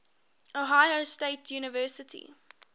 ohio state university